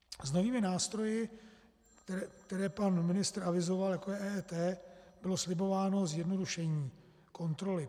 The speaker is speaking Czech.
S novými nástroji, které pan ministr avizoval, jako je EET, bylo slibováno zjednodušení kontroly.